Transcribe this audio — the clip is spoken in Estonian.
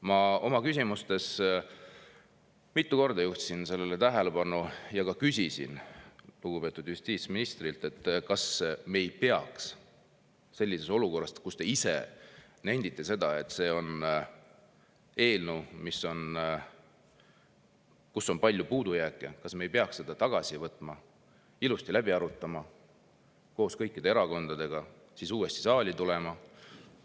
Ma juhtisin oma küsimustes mitu korda tähelepanu sellele ja ka küsisin lugupeetud justiitsministrilt, kas me ei peaks sellises olukorras, kus ta ise nendib, et selles eelnõus on palju puudujääke, seda tagasi võtma, ilusti läbi arutama koos kõikide erakondadega ja siis uuesti saali tulema.